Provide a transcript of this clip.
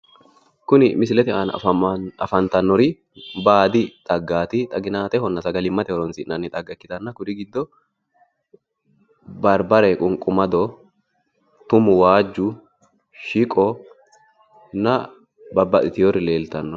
kuni misilete aana afantannori baadi xaggaati. xaginaatehonna sagalimmate horonsi'nanni xagga ikkitanna, kuri giddo: barbare, qunqumado, tumu wajju, shiqonna babaxiteewori leeltanno.